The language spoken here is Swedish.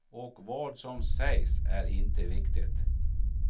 Och vad som sägs är inte viktigt.